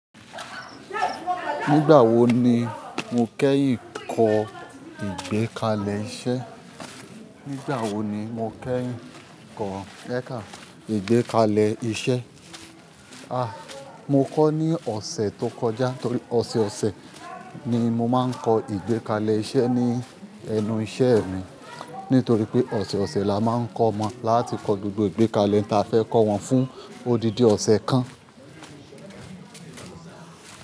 Nígbà wo ni mo kẹ́yìn kọ ìgbékalẹ̀ iṣẹ́? Nígbà wo ni mo kẹ́yìn kọ ìgbékalẹ̀ iṣẹ́? Ah, mo kọ ní ọ̀sẹ̀ tó kọjá torí ọ̀sẹ̀ ọ̀sẹ̀ ni mo máa ń kọ ìgbékalẹ̀ iṣẹ́ ní ẹnu iṣẹ́ mi. Nítorí pé ọ̀sẹ̀ ọ̀sẹ̀ la máa ń kọ́ omọ, láti kọ gbogbo ìgbékalẹ̀ tí a fẹ́ kọ́ wọn fún odidi ọ̀sẹ̀ kan.